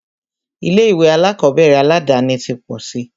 Ilé ìwé alákọ̀berẹ̀ aládàni ti pọ̀ síi.